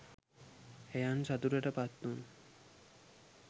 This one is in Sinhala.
එයන් සතුටට පත් වුණු